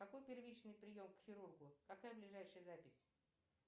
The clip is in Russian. какой первичный прием к хирургу какая ближайшая запись